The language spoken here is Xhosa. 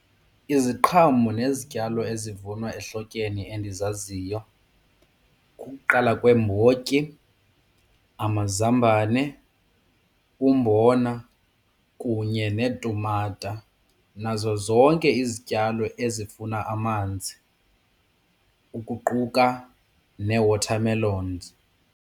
Iziqhamo nezityalo ezivunwa ehlotyeni endizaziyo kukuqala kweembotyi, amazambane, umbona kunye neetumata nazo zonke izityalo ezifuna amanzi ukuquka nee-watermelons.